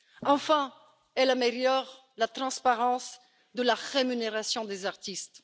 Enfin, elles améliorent la transparence de la rémunération des artistes.